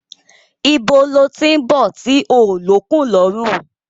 Ibo lo tí ń bọ̀ tí ó lókun lọrun